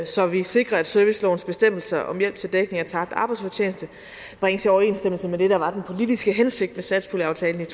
så vi sikrer at servicelovens bestemmelser om hjælp til dækning af tabt arbejdsfortjeneste bringes i overensstemmelse med det der var den politiske hensigt med satspuljeaftalen